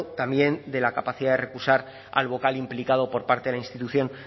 también de la capacidad de recusar al vocal implicado por parte de la institución